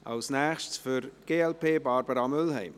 Für die glp spricht als Nächste Barbara Mühlheim.